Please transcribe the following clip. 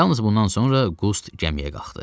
Yalnız bundan sonra Qust gəmiyə qalxdı.